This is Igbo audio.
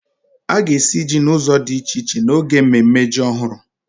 A ga-esi jí n'ụzọ di iche iche n'oge mmemme jí ọhụrụ